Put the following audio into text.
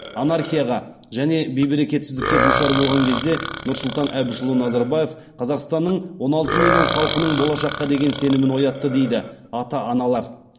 анархияға және бейберекетсіздікке душар болған кезде нұрсұлтан әбішұлы назарбаев қазақстанның он алты миллион халқының болашаққа деген сенімін ояқтты дейді ата аналар